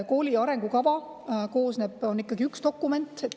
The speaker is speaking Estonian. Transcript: Kooli arengukava on ikkagi üks dokument.